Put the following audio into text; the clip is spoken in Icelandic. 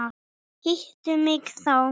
Hittu mig þá.